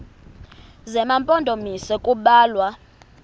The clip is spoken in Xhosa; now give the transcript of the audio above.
zema mpondomise kubalwa